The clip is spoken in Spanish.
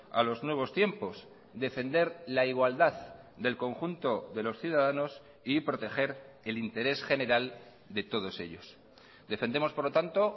a los nuevos tiempos defender la igualdad del conjunto de los ciudadanos y proteger el interés general de todos ellos defendemos por lo tanto